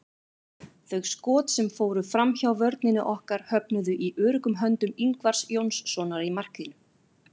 Þau skot sem fóru framhjá vörninni höfnuðu í öruggum höndum Ingvars Jónssonar í markinu.